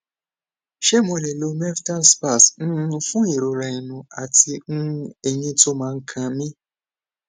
ṣé mo lè lo meftal spas um fún ìrora ẹnu àti um eyín tó ma n kan mi